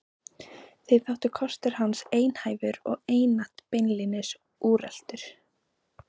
Þeim þótti kostur hans einhæfur og einatt beinlínis úreltur.